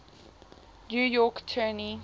new york attorney